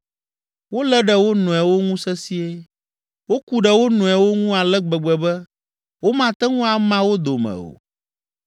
Wolé ɖe wo nɔewo ŋu sesĩe, woku ɖe wo nɔewo ŋu ale gbegbe be, womate ŋu ama wo dome o.